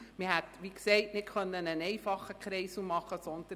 Man hätte wie gesagt keinen einfachen Kreisel machen können.